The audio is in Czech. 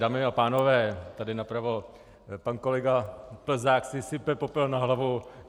Dámy a pánové, tady napravo, pan kolega Plzák si sype popel na hlavu.